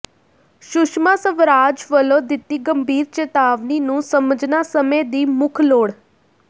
ਸੁਸ਼ਮਾ ਸਵਰਾਜ ਵੱਲੋਂ ਦਿੱਤੀ ਗੰਭੀਰ ਚੇਤਾਵਨੀ ਨੂੰ ਸਮਝਣਾ ਸਮੇਂ ਦੀ ਮੁੱਖ ਲੋੜ